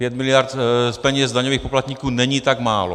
Pět miliard z peněz daňových poplatníků není tak málo.